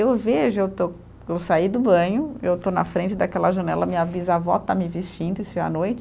Eu vejo, eu estou, eu saí do banho, eu estou na frente daquela janela, minha bisavó está me vestindo, isso é à noite,